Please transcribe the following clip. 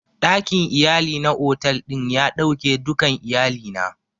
Ɗakin iyali na otal ɗin ya ɗauke dukkan iyalina.